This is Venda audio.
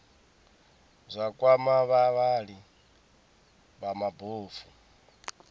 zwa kwama vhavhali vha mabofu